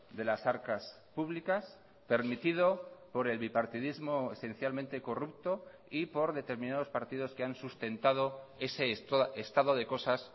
de las arcas públicas permitido por el bipartidismo esencialmente corrupto y por determinados partidos que han sustentado ese estado de cosas